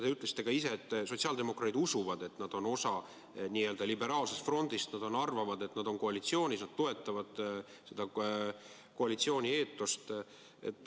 Te ütlesite ka ise, et sotsiaaldemokraadid usuvad, et nad on osa n-ö liberaalsest frondist, st nad arvavad, et nad on koalitsioonis ja toetavad seda koalitsiooni eetost.